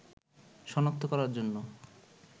শনাক্ত করার জন্য